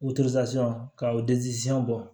ka bɔ